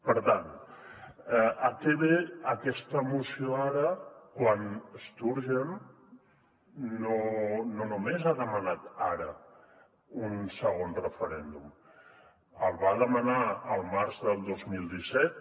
per tant a què ve aquesta moció ara quan sturgeon no només ha demanat ara un segon referèndum el va demanar al març del dos mil disset